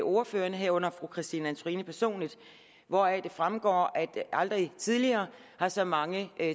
ordførerne herunder fru christine antorini personligt hvoraf det fremgår at aldrig tidligere har så mange